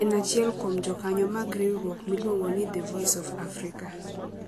Ne en achiel kuom jokanyo mag riwruok miluongo ni "The Voice of Africa".